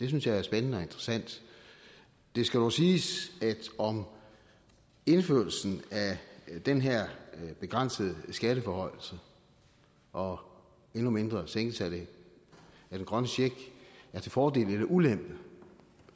det synes jeg er spændende og interessant det skal dog siges at om indførelsen af den her begrænsede skatteforhøjelse og endnu mindre sænkelsen af den grønne check er til fordel eller ulempe